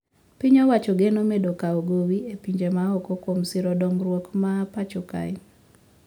Piny owacho geno medo kawo gowi e pinje maoko kwom siro dongruok ma pacho kae